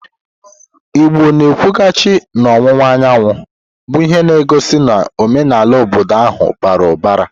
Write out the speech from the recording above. Igbo na-ekwughachi n'ọwụwa anyanwụ, bụ ihe na-egosi na omenala obodo ahụ bara ụbara.